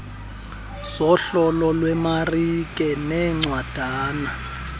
zohlolo lwemarike neencwadana